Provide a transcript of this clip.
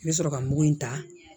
N bɛ sɔrɔ ka mugu in ta